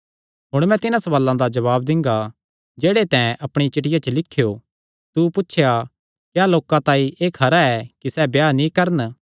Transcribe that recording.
हुण मैं तिन्हां सवालां दा जवाब दिंगा जेह्ड़े तैं अपणिया चिठ्ठिया च लिख्यो तू पुछया क्या लोकां तांई एह़ खरा ऐ कि सैह़ ब्याह नीं करन